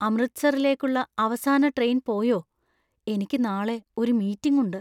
അമൃത്‌സറിലേക്കുള്ള അവസാന ട്രെയിൻ പോയോ? എനിക്ക് നാളെ ഒരു മീറ്റിംഗ് ഉണ്ട്.